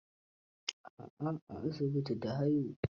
A'a, a asibiti ta haihu.